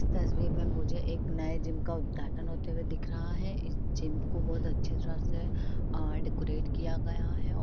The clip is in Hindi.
इस तस्वीर में मुझे एक नए जिम का उदघाटन होते हुए दिख रहा है। इस जिम को बहोत अच्छी तरह से आ डेकोरेट किया गया है और --